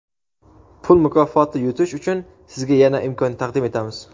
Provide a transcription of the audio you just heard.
Pul mukofoti yutish uchun sizga yana imkon taqdim etamiz.